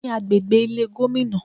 Ní agbègbè Ilé Gómìnà